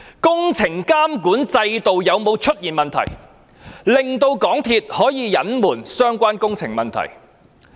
工程監管制度有沒有出現問題，令港鐵公司可以隱瞞相關的工程問題？